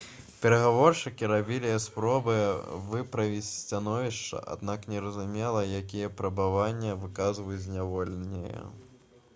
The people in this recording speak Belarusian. перагаворшчыкі рабілі спробы выправіць становішча аднак незразумела якія патрабаванні выказваюць зняволеныя